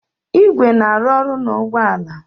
igwe na-arụ ọrụ na ụgbọ ala